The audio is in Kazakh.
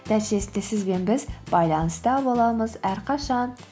нәтижесінде сіз бен біз байланыста боламыз әрқашан